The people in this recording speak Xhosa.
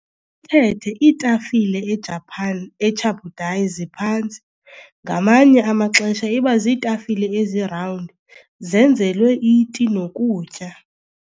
thethe, iitafile e-Japan, "e-chabudai", ziphantsi, ngamanye amaxesha iba ziitafile ezi-round, zenzelwe iti nokutya.